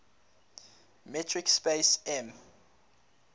metric space m